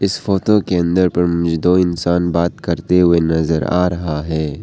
इस फोटो के अंदर पर मुझे दो इंसान बात करते हुए नजर आ रहा है।